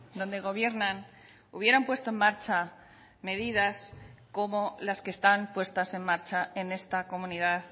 donde gobiernan hubieran puesto en marcha medidas como las que están puestas en marcha en esta comunidad